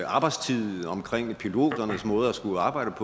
arbejdstid omkring piloternes måde at skulle arbejde